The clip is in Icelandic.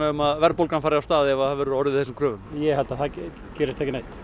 um að verðbólgan fari af stað ef það verður orðið við þessum kröfum ég held að það gerist ekki neitt